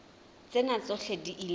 tsena tsohle di ile tsa